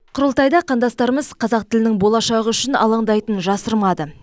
құрылтайда қандастармыз қазақ тілінің болашағы үшін алаңдайтынын жасырмады